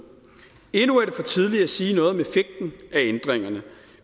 endnu er det for tidligt at sige noget om effekten af ændringerne